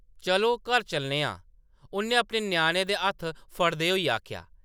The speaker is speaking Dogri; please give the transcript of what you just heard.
"चलो, घर चलने आं , उʼन्नै अपने ञ्याणें दे हत्थ फड़दे होई आखेआ ।